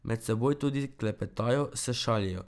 Med seboj tudi klepetajo, se šalijo.